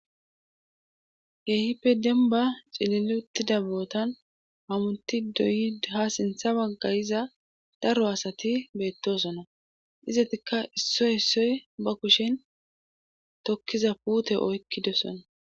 Keehippe demba cililutida bootan hamunti doyi ha sintha waggayiza daro asati beettosona izatikka issoy issoy ba kushin tokkiza puute oykkidosona